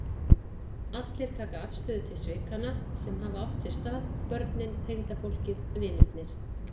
Allir taka afstöðu til svikanna sem hafa átt sér stað, börnin, tengdafólkið, vinirnir.